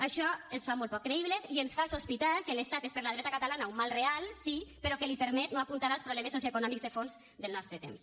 això els fa molt poc creïbles i ens fa sospitar que l’estat és per la dreta catalana un mal real sí però que li permet no apuntar als problemes socioeconòmics de fons del nostre temps